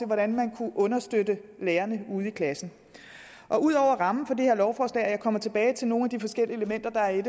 hvordan man kunne understøtte lærerne ude i klassen og ud over rammen for det her lovforslag og jeg kommer tilbage til nogle af de forskellige elementer der er